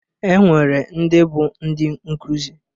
Enwere ndị bụ ndị nkuzi.